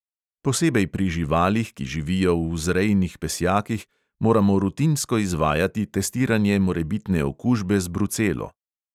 Posebej pri živalih, ki živijo v vzrejnih pesjakih, moramo rutinsko izvajati testiranje morebitne okužbe z brucelo.